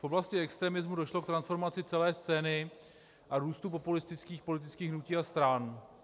V oblasti extremismu došlo k transformaci celé scény a růstu populistických politických hnutí a stran.